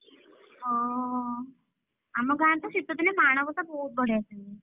ହଁ ଆମ ଗାଁରେ ତ ଶୀତ ଦିନେ ମାଣବସା ବହୁତ୍ ବଢିଆସେ ହୁଏ।